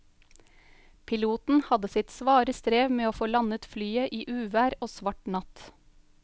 Piloten hadde sitt svare strev med å få landet flyet i uvær og svart natt.